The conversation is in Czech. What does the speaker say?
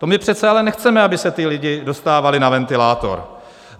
To my přece ale nechceme, aby se ti lidé dostávali na ventilátor.